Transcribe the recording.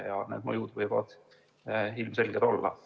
... ja need mõjud võivad ilmselged olla.